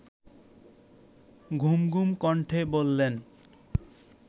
ঘুমঘুম কণ্ঠে বললেন